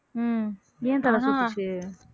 உம் ஏன் தல சுத்துச்சு